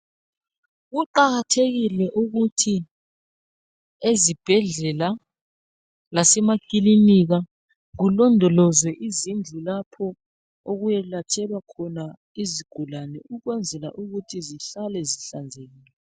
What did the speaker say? Kuqakathekile ukuthi ezibhedlela lasemakilinika kulondolozwe izindlu lapho okuyelatshelwa khona izigulane ukwenzela ukuthi zihlale zihlanzekile.